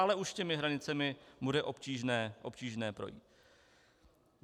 Ale už těmi hranicemi bude obtížné projít.